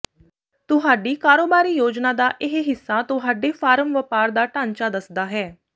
ਤੁਹਾਡੀ ਕਾਰੋਬਾਰੀ ਯੋਜਨਾ ਦਾ ਇਹ ਹਿੱਸਾ ਤੁਹਾਡੇ ਫਾਰਮ ਵਪਾਰ ਦਾ ਢਾਂਚਾ ਦੱਸਦਾ ਹੈ